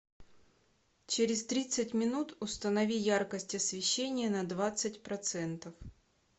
через тридцать минут установи яркость освещения на двадцать процентов